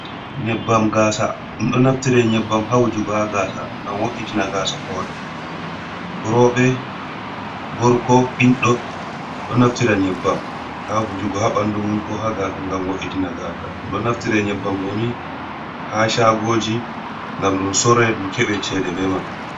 Nyebbam gasa, ɗum ɗon naftire nyebbam ha wujugo ha gasa ngam wo’’itina gasa hore rewɓe, gorko, ɓiɗɗo, ɗo naftira nyebbam ha wujugo ha ɓandu mum ko ha gasa ngam woitina gasa, ɗum ɗo naftire nyebbam ɗoni ha caagoji ngam ɗum sorre ɗum keɓe cede be man.